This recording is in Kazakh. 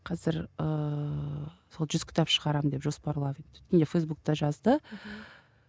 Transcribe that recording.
қазір ыыы сол жүз кітап шығарамын деп жоспарлап фейсбукта жазды мхм